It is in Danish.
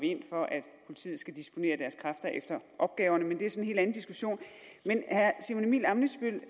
vi ind for at politiet skal disponere deres kræfter efter opgaverne men det er så en helt anden diskussion men herre simon emil ammitzbøll